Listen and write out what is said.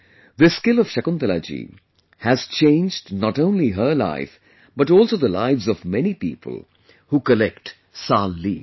This skill of Shakuntalaji has changed not only her life but also the lives of many people who collect 'Sal' leaves